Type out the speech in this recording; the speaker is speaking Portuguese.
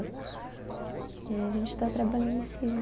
E aí a gente está trabalhando em cima.